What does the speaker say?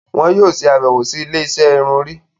Òún yóò ṣe abẹwo sì ilé-isé irun Orí